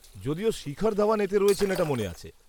-যদিও শিখর ধাওয়ান এতে রয়েছেন এটা মনে আছে।